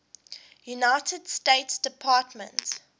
united states department